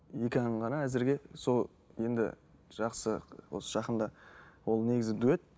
екі ән ғана әзірге сол енді жақсы осы жақында ол негізі дуэт